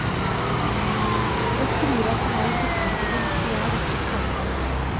Å skrive er for meg å tilfredsstille mitt begjær etter å skape.